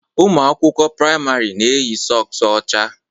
Ụmụ akwụkwọ praịmarị na-eyi sọks ọcha